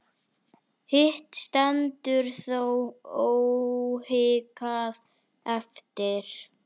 Hitt stendur þó óhikað eftir.